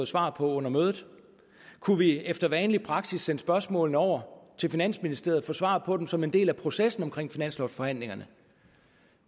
svar på under mødet kunne vi efter vanlig praksis sende spørgsmålene over til finansministeriet og få svar på dem som en del af processen omkring finanslovforhandlingerne